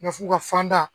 Ma f'u ka fan da